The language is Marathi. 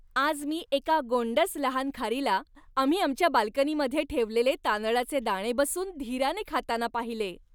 आज मी एका गोंडस लहान खारीला आम्ही आमच्या बाल्कनीमध्ये ठेवलेले तांदळाचे दाणे बसून धीराने खाताना पाहिले.